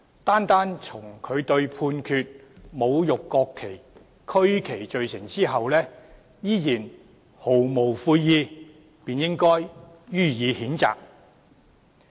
單從他對被判侮辱國旗及區旗罪成後依然毫無悔意，便應予以譴責。